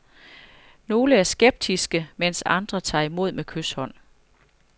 Nogle er skeptiske, mens andre tager imod med kyshånd.